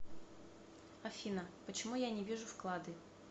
афина почему я не вижу вклады